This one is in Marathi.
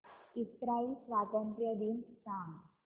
इस्राइल स्वातंत्र्य दिन सांग